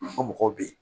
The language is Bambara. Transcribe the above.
O mɔgɔw bɛ yen